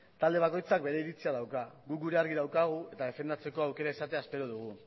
talde bakoitzak bere iritzia dauka guk gurea argi daukagu eta defendatzeko aukera izatea espero dugu